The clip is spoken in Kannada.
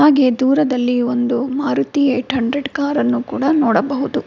ಹಾಗೆ ದೂರದಲ್ಲಿ ಒಂದು ಮಾರುತಿ ಎಯಿಟ್ ಹಂಡ್ರೆಡ್ ಕಾರನ್ನು ಕೂಡ ನೋಡಬಹುದು.